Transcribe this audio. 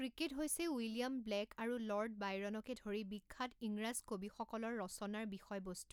cricket হৈছে William Blake আৰু Lord বাইৰণকে ধৰি বিখ্যাত ইংৰাজ কবিসকলৰ ৰচনাৰ বিষয়বস্তু৷